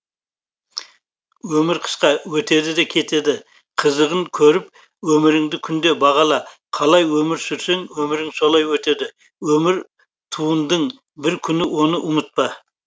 өмір қысқа өтеді де кетеді қызығын көріп өміріңді күнде бағала қалай өмір сүрсең өмірің солай өтеді өмір туындың бір күн оны ұмытпа